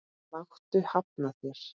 Láttu hafna þér.